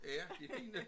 Ja de fine